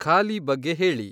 ಖಾಲಿ ಬಗ್ಗೆ ಹೇಳಿ